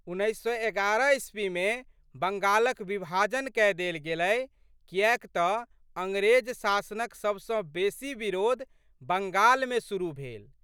उन्नैस सए एगारह ईस्वीमे बङ्गालक विभाजन कय देल गेल कियैक तऽ अंग्रेज शासनक सबसँ बेशी विरोध बंगालमे शुरु भेल।